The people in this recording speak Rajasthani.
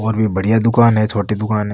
और भी बढ़िया दुकान है छोटी दुकान है।